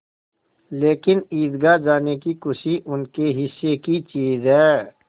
लेकिन ईदगाह जाने की खुशी उनके हिस्से की चीज़ है